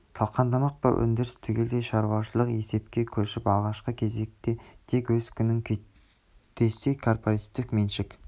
талқандамақ па өндіріс түгелдей шаруашылық есепке көшіп алғашқы кезекте тек өз күнін күйттесе кооперативтік меншік